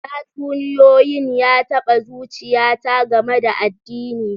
Tatsuniyoyin ya taba zuchiyata game da addini.